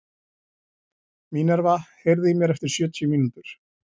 Minerva, heyrðu í mér eftir sjötíu mínútur.